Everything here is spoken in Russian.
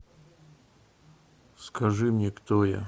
скажи мне кто я